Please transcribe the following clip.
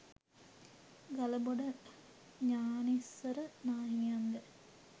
ගලබොඩ ඤාණිස්සර නාහිමියන් ද